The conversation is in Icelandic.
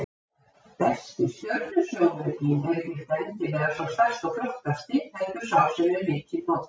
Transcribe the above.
Besti stjörnusjónaukinn er ekki endilega sá stærsti og flottasti, heldur sá sem er mikið notaður.